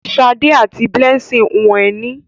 Ṣadé àti Blessing hun ẹní.